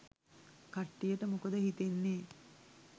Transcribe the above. කට්ටියට මොකද හිතෙන්නේ?